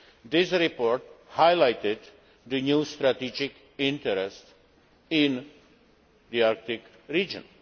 This report highlighted the new strategic interest in the Arctic region.